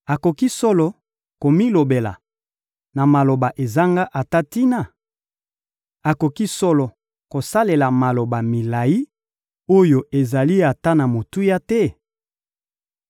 Akoki solo komilobela na maloba ezanga ata tina? Akoki solo kosalela maloba milayi oyo ezali ata na motuya te?